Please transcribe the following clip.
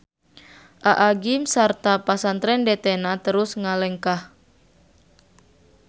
Aa gym sarta Pasantren DT-na terus ngalengkah.